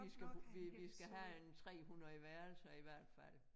Vi skal bruge vi vi skal have en 300 værelser i hvert fald